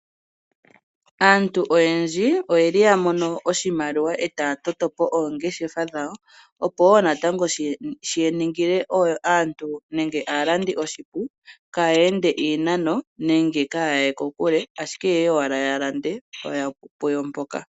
Aantu oyendji oyeli ya mono oshimaliwa etaya toto po oongeshefa dhawo opo natango shiningile aantu nenge aalandi oshipu kaye ende iinano nenge kaya ye kokule ashike ye ye owala ya lande puyo mpoka.